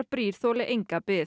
brýr þoli enga bið